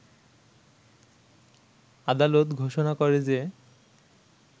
আদালত ঘোষণা করে যে